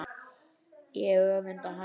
Ég öfunda hana.